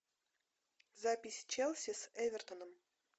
запись челси с эвертоном